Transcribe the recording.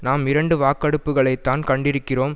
நாம் இரண்டு வாக்கெடுப்புக்களைத்தான் கண்டிருக்கிறோம்